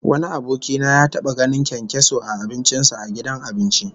Wani aboki na ya taba ganin kyankyaso a abincin sa a gidan abinci